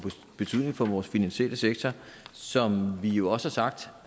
betydning for vores finansielle sektor som vi jo også har sagt